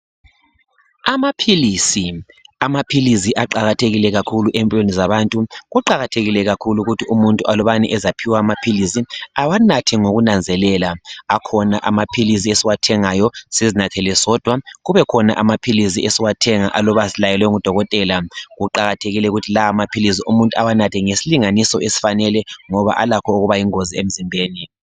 Amaphilisi, amaphilizi aqakathekile kakhulu empilweni zabantu. Kuqakathekile kakhulu ukuthi umuntu alubana ezaphiwa amaphilisi, awanathe ngokunanzelela. Kukhona amaphilisi esiwathengayo sizinathele sodwa, kubekhona amaphilisi esiwathenga aluba silayelwe ngudokotela. Kuqakathekile ukuthi lawa amaphilisi umuntu awanathe ngesilinganiso esifanale ngoba alakho ukuba yingozi emzimbeni.